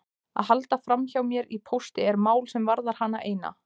Að halda framhjá mér í pósti er mál sem varðar hana eina.